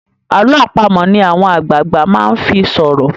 àlọ́ àpamọ̀ ni àwọn àgbààgbà máa ńfi sọrọ